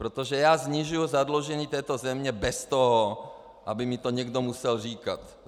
Protože já snižuji zadlužení této země bez toho, aby mi to někdo musel říkat.